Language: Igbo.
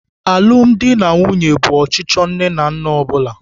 Alụmdi na nwunye bụ ọchịchọ nne na nna ọ bụla.